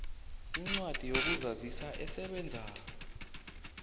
incwadi yokuzazisa esebenzako